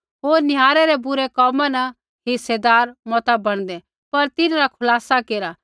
होर निहारै रै बुरै कोमा न हिस्सेदार मता बणदे पर तिन्हरा खुलासा केरा